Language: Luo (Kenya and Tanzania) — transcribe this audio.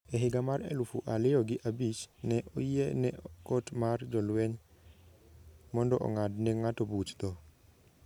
E higa mar elufu aliyo gi abich, ne oyie ne kot mar jolweny mondo ong'ad ne ng'ato buch tho.